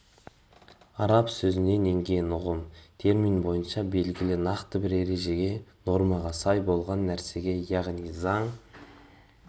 араб сөзінен енген ұғым термин бойынша белгілі нақты бір ережеге нормаға сай болған нәрсе яғни заң